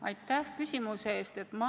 Aitäh küsimuse eest!